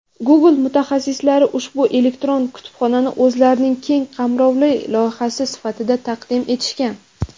"Google" mutaxassislari ushbu elektron kutubxonani o‘zlarining keng qamrovli loyihasi sifatida taqdim etishgan.